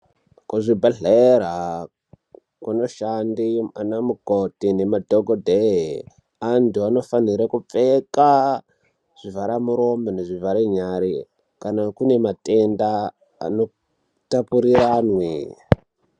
Kuzvibhehlera kunoshanda ana mukoti nemadhokodheya andu anofanire kupfeka zvivharamuromo nezvivhara nyara kana kune matenda anotapuriranwe.